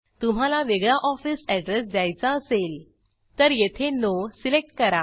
तुम्हाला वेगळा office address द्यायचा असेल तर येथे नो सिलेक्ट करा